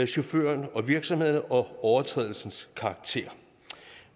chauffører og virksomheder og overtrædelsens karakter